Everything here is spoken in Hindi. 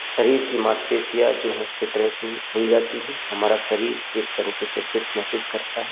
शरीर की मांसपेशियां जो हैं फिट रहती हैं खुल जाती हैं। हमारा शरीर एक तरीके से फिट महसूस करता है।